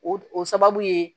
O o sababu ye